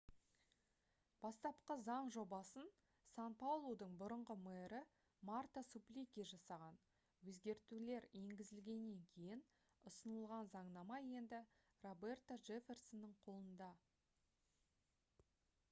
бастапқы заң жобасын сан-паулудың бұрынғы мэрі марта суплики жасаған өзгертулер енгізілгеннен кейін ұсынылған заңнама енді роберто джефферсонның қолында